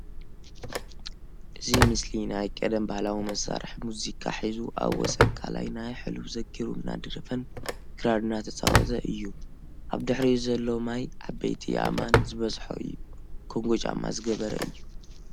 እዚ ምስሊ ናይ ቀደም ( ባህላዊ መሳርሒ) ሙዚቃ ሒዙ ኣብ ወሰን ቃላይ ናይ ሕሉፍ ዘኪሩ እናደረፈን ክራር እናትጻወተ እዩ። ኣብ ድሕሪኡ ዘሎ ማይ ዓበይቲ ኣእማን ዝበዝሖ እዩ። ኮንጎ ጫማ ዝገበረ እዩ